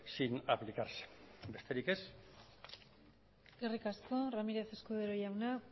sin aplicarse besterik ez eskerrik asko ramírez escudero jauna